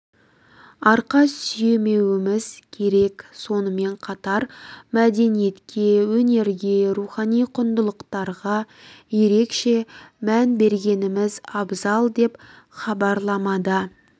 арқа сүйемеуіміз керек сонымен қатар мәдениетке өнерге рухани құндылықтарға ерекше мән бергеніміз абзал деп хабарламада